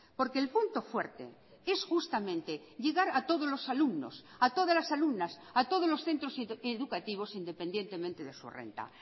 porque el punto fuerte es justamente llegar a todos los alumnos a todas las alumnas a todos los centros educativos independientemente de su renta